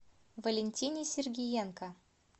валентине сергиенко